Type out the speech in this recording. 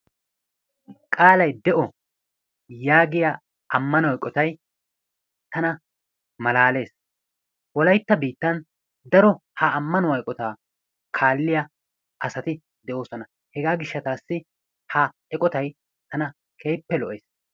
Qaalay de"o yaagiya ammano eqotay tana malaales. Wolayitta biittan daro ha ammanuwa eqotaa kaalliya asati de"oosona. Hegaa gishshataassi ha eqotay tana keehippe lo"es.